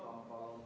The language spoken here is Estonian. Tarmo Tamm, palun!